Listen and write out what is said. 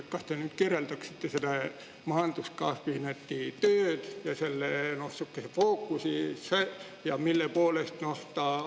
Kas te kirjeldaksite majanduskabineti tööd ja selle fookusi?